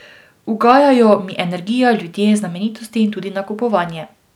Ugajajo mi energija, ljudje, znamenitosti in tudi nakupovanje.